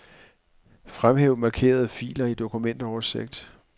Fremhæv markerede filer i dokumentoversigt.